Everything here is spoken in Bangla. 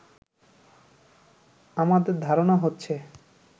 আমাদের ধারণা হচ্ছে